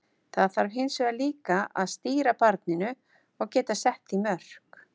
Það þarf hins vegar líka að stýra barninu og geta sett því mörk.